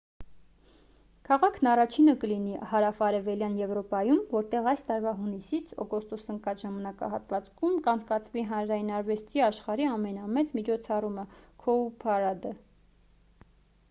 քաղաքն առաջինը կլինի հարավարևելյան եվրոպայում որտեղ այս տարվա հունիսից օգոստոս ընկած ժամանակահատվածում կանցկացվի հանրային արվեստի աշխարհի ամենամեծ միջոցառումը՝ «cowparade»-ը: